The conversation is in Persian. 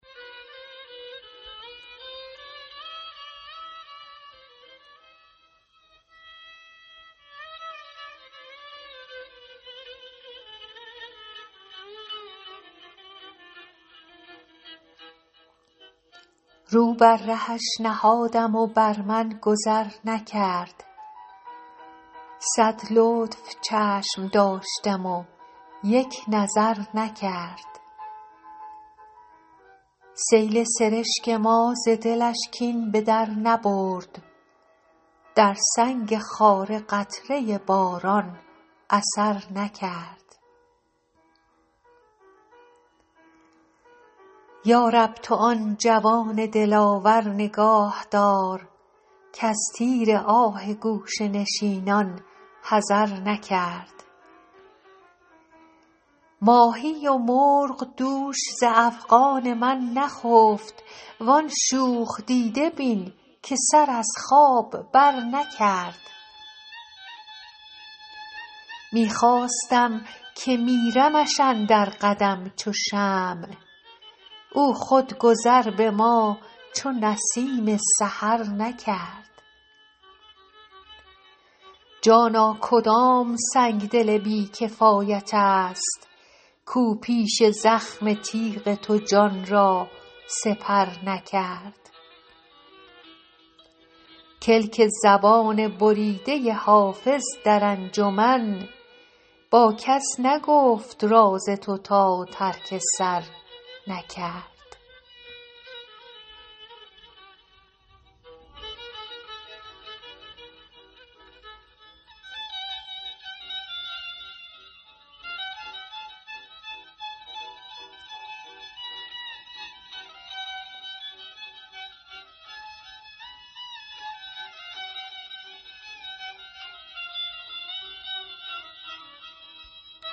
رو بر رهش نهادم و بر من گذر نکرد صد لطف چشم داشتم و یک نظر نکرد سیل سرشک ما ز دلش کین به در نبرد در سنگ خاره قطره باران اثر نکرد یا رب تو آن جوان دلاور نگاه دار کز تیر آه گوشه نشینان حذر نکرد ماهی و مرغ دوش ز افغان من نخفت وان شوخ دیده بین که سر از خواب برنکرد می خواستم که میرمش اندر قدم چو شمع او خود گذر به ما چو نسیم سحر نکرد جانا کدام سنگدل بی کفایت است کاو پیش زخم تیغ تو جان را سپر نکرد کلک زبان بریده حافظ در انجمن با کس نگفت راز تو تا ترک سر نکرد